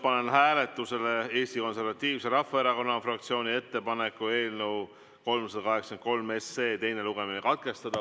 Panen hääletusele Eesti Konservatiivse Rahvaerakonna fraktsiooni ettepaneku eelnõu 383 teine lugemine katkestada.